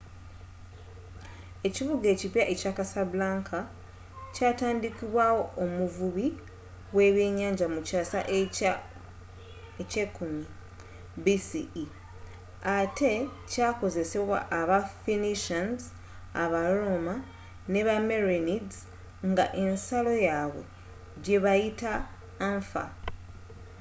ekibuga ekipya ekya casablanca kyatandikibwawo omuvubi w'ebyennyanja mu kyaasa ekya 10th bce ate kyakozesebwa aba phoenicians aba roma ne ba merenids nga ensalo yabwe gyebaayita anfa